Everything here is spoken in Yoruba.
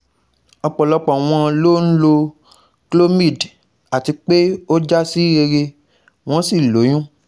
Ọ̀pọ̀lọpọ̀ wọn ló ń lo Clomid àti pé o ja si rere won sí lóyún